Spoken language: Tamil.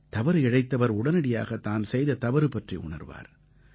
தவறு இழைத்தவர் உடனடியாகத் தான் செய்த தவறு பற்றி உணர்வார்